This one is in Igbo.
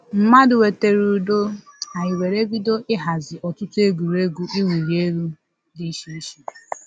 Mmadụ wetara ụdọ, anyị were bido ịhazi ọtụtụ egwuregwu iwuli elu dị iche iche